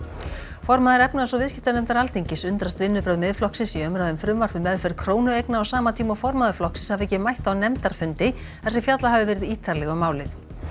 formaður efnahags og viðskiptanefndar Alþingis undrast vinnubrögð Miðflokksins í umræðu um frumvarp um meðferð krónueigna á sama tíma og formaður flokksins hafi ekki mætt á nefndarfundi þar sem fjallað hafi verið ítarlega um málið